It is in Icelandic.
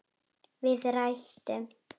Við rætur